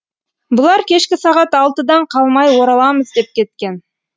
бұлар кешкі сағат алтыдан қалмай ораламыз деп кеткен